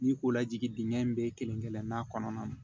N'i ko lajigi dingɛn in bɛɛ kelen kelen n'a kɔnɔna na